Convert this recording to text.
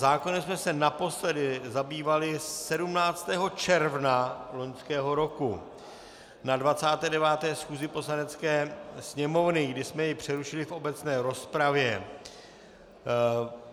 Zákonem jsme se naposledy zabývali 17. června loňského roku na 29. schůzi Poslanecké sněmovny, kdy jsme ji přerušili v obecné rozpravě.